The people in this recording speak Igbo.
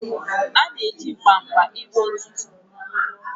A na-eji mkpa maka ịkpụ ntutu.